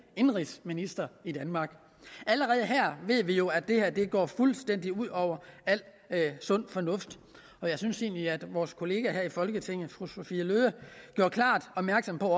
indenrigsminister i danmark allerede her ved vi jo at det går fuldstændig ud over al sund fornuft og jeg synes egentlig at vores kollega her i folketinget fru sophie løhde gjorde klart opmærksom på